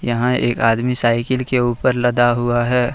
यहां एक आदमी साइकिल के ऊपर लदा हुआ है।